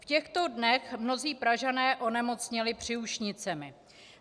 V těchto dnech mnozí Pražané onemocněli příušnicemi.